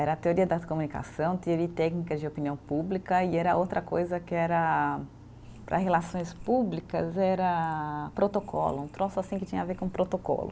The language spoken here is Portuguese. Era teoria da comunicação, teoria e técnicas de opinião pública e era outra coisa que era, para relações públicas, era protocolo, um troço assim que tinha a ver com protocolo.